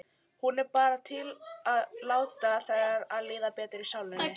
Hún er bara til að láta þér líða betur í sálinni.